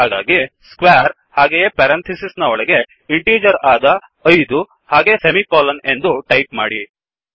ಹಾಗಾಗಿsquareಸ್ಕ್ವೇರ್ಹಾಗೇ parenthesis ನ ಒಳಗೆ integer ಆದ5 ಹಾಗೇ ಸೆಮಿಕೊಲನ್ ಎಂದು ಟಾಯಿಪ್ ಮಾಡಿ